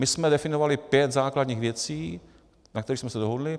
My jsme definovali pět základních věcí, na kterých jsme se dohodli.